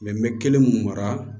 n bɛ kelen mun mara